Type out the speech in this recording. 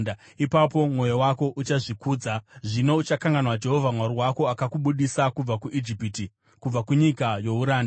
ipapo mwoyo wako uchazvikudza zvino uchakanganwa Jehovha Mwari wako, akakubudisa kubva kuIjipiti, kubva kunyika youranda.